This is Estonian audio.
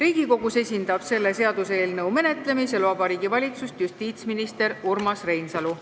Seaduseelnõu menetlemisel Riigikogus esindab Vabariigi Valitsust justiitsminister Urmas Reinsalu.